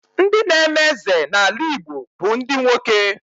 Ndị n'eme eze n'ala Igbo bụ ndị nwoke.